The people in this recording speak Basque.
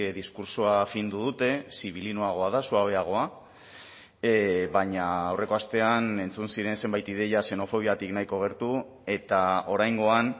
diskurtsoa findu dute sibilinoagoa da suabeagoa baina aurreko astean entzun ziren zenbait ideia xenofobiatik nahiko gertu eta oraingoan